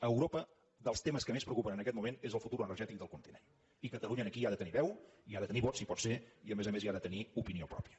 a europa dels temes que més preocupen en aquest moment és el futur energètic del continent i catalunya aquí hi ha de tenir veu i hi ha de tenir vot si pot ser i a més a més hi ha de tenir opinió pròpia